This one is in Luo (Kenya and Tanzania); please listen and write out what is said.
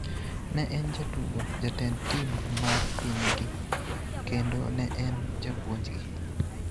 Ne en jatugo, jatend tim mar pinygi, kendo ne en japuonjgi.